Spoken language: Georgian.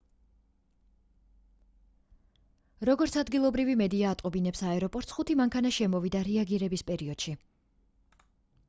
როგორც ადგილობრივი მედია ატყობინებს აეროპორტს ხუთი მანქანა შემოვიდა რეაგირების პერიოდში